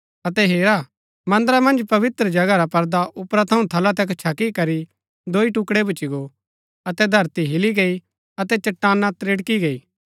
अतै हेरा मन्दरा मन्ज पवित्र जगह रा पर्दा उपरा थऊँ थला तक छकी करी दोई टुकड़ै भूच्ची गो अतै धरती हिली गई अतै चट्टाना त्रिड़की गई